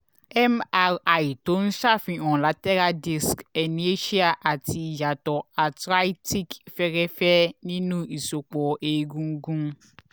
mri tó ń ṣàfihàn lateral disc herniation àti ìyàtọ̀ arthritic fẹ́ẹ́rẹ́fẹ́ nínú ìsòpọ̀ egungun